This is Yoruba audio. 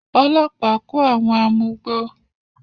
Ọlọ́pàá kó àwọn amugbó.